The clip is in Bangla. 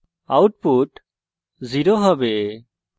output 0 হবে